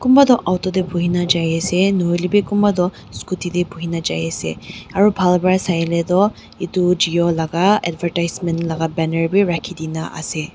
kunpa toh auto tae buhina jaiase nahoilae bi kunpa toh scooty tae buhina jaiase aro bhal pa sailae toh edu jio laka advertisement laka banner bi rakhidina ase.